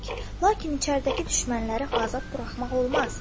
Lakin içəridəki düşmənləri azad buraxmaq olmaz.